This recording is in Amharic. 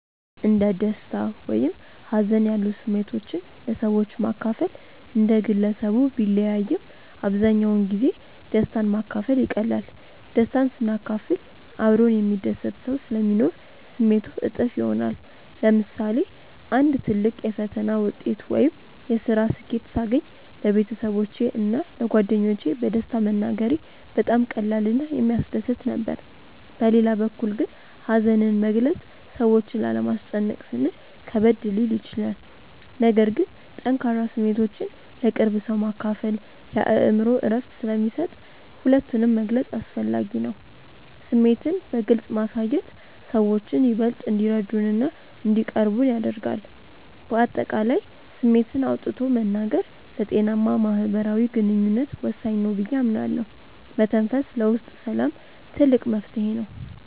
እንደ ደስታ ወይም ሀዘን ያሉ ስሜቶችን ለሰዎች ማካፈል እንደ ግለሰቡ ቢለያይም፣ አብዛኛውን ጊዜ ደስታን ማካፈል ይቀላል። ደስታን ስናካፍል አብሮን የሚደሰት ሰው ስለሚኖር ስሜቱ እጥፍ ይሆናል። ለምሳሌ አንድ ትልቅ የፈተና ውጤት ወይም የስራ ስኬት ሳገኝ ለቤተሰቦቼ እና ለጓደኞቼ በደስታ መናገሬ በጣም ቀላል እና የሚያስደስት ነበር። በሌላ በኩል ግን ሀዘንን መግለጽ ሰዎችን ላለማስጨነቅ ስንል ከበድ ሊል ይችላል። ነገር ግን ጠንካራ ስሜቶችን ለቅርብ ሰው ማካፈል የአእምሮ እረፍት ስለሚሰጥ ሁለቱንም መግለጽ አስፈላጊ ነው። ስሜትን በግልጽ ማሳየት ሰዎችን ይበልጥ እንዲረዱንና እንዲቀርቡን ያደርጋል። በአጠቃላይ ስሜትን አውጥቶ መናገር ለጤናማ ማህበራዊ ግንኙነት ወሳኝ ነው ብዬ አምናለሁ። መተንፈስ ለውስጥ ሰላም ትልቅ መፍትሄ ነው።